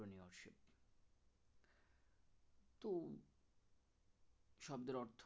শব্দের অর্থ